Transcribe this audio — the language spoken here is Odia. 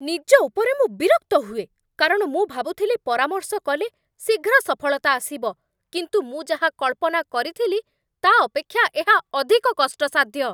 ନିଜ ଉପରେ ମୁଁ ବିରକ୍ତ ହୁଏ, କାରଣ ମୁଁ ଭାବୁଥିଲି ପରାମର୍ଶ କଲେ ଶୀଘ୍ର ସଫଳତା ଆସିବ, କିନ୍ତୁ ମୁଁ ଯାହା କଳ୍ପନା କରିଥିଲି, ତା' ଅପେକ୍ଷା ଏହା ଅଧିକ କଷ୍ଟସାଧ୍ୟ।